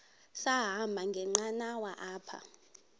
sahamba ngenqanawa apha